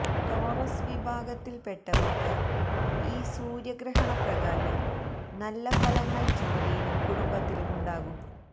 Taurus വിഭാഗത്തില് പെട്ടവര്ക്ക് ഈ സൂര്യ ഗ്രഹണപ്രകാരം നല്ല ഫലങ്ങള് ജോലിയിലും കുടുംബത്തിലുമുണ്ടാകും